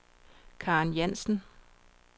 Karen Jansen